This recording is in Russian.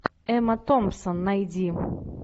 эмма томпсон найди